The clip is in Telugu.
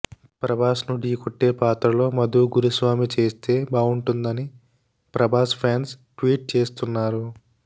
ప్రభాస్ను ఢీ కొట్టే పాత్రలో మధూ గురుస్వామి చేస్తే బావుంటుందని ప్రభాస్ ఫ్యాన్స్ ట్వీట్ చేస్తున్నారు